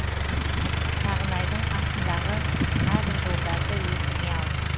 сағынайдың асындағы мына бір жолдарды есіңе ал